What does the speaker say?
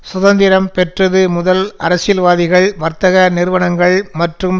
சுதந்திரம் பெற்றது முதல் அரசியல்வாதிகள் வர்த்தக நிறுவனங்கள் மற்றும்